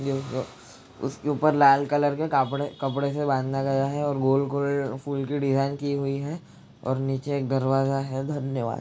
उसके ऊपर लाल कलर के कापडे कपडे से बाँधा गया है और गोल - गोल फूल की डिज़ाइन की हुई है और निचे एक दरवाजा है धन्यवाद्।